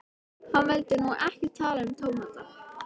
Hann vildi nú ekkert tala um tómata.